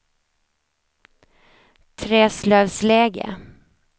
Träslövsläge